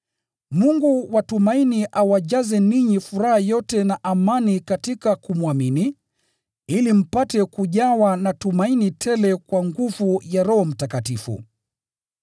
Mungu wa tumaini awajaze ninyi furaha yote na amani katika kumwamini, ili mpate kujawa na tumaini tele kwa nguvu ya Roho Mtakatifu.